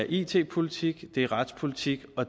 it politik retspolitik og